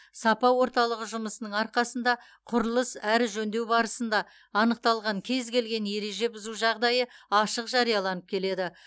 сапа орталығы жұмысының арқасында құрылыс әрі жөндеу барысында анықталған кез келген ереже бұзу жағдайы ашық жарияланып келеді